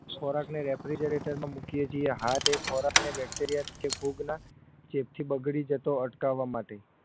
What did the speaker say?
ખોરાકને refigrator મૂકીએ છીએ હા તે ખોરાકને bacteria કે ફૂગના ચેપથી બગડી જતો અટકાવવા માટે